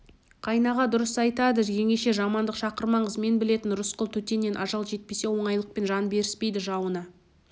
қайнаға дұрыс айтады жеңеше жамандық шақырмаңыз мен білетін рысқұл төтеннен ажал жетпесе оңайлықпен жан беріспейді жауына